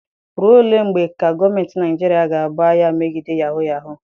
Ruo ole mgbe ka gọọmenti Naijiria ga-ebu agha megide yahuu yahuu?